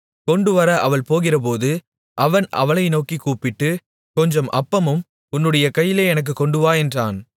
கொண்டுவர அவள் போகிறபோது அவன் அவளை நோக்கிக் கூப்பிட்டு கொஞ்சம் அப்பமும் உன்னுடைய கையிலே எனக்குக் கொண்டுவா என்றான்